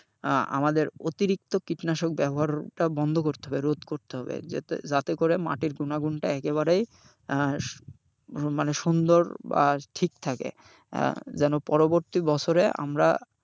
আহ আমাদের অতিরিক্ত কীটনাশক ব্যবহারটা বন্ধ করতে হবে রোধ করতে হবে, যাতে করে মাটির গুণাগুণটা একেবারেই আহ মানে সুন্দর বা ঠিক থাকে আহ যেন পরবর্তী বছরে আমরা,